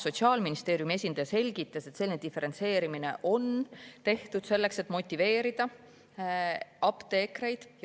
Sotsiaalministeeriumi esindaja selgitas, et selline diferentseerimine on tehtud selleks, et apteekreid motiveerida.